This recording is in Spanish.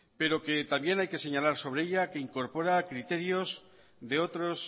pero que también hay que señalar sobre ella que incorpora criterios de otros